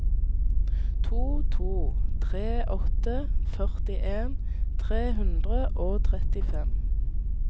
to to tre åtte førtien tre hundre og trettifem